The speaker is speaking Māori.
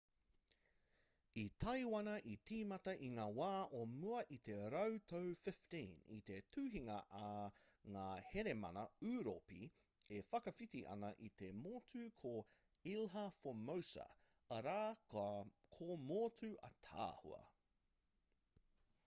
i taiwana i tīmata i ngā wā o mua i te rautau 15 i te tuhinga a ngā hēramana ūropi e whakawhiti ana i te motu ko ilha formosa arā ko motu ātaahua